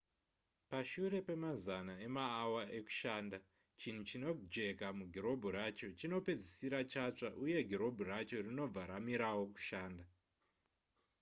pashure pemazana emaawa ekushanda chinhu chinojeka mugirobhu racho chinopedzisira chatsva uye girobhu racho rinobva ramirawo kushanda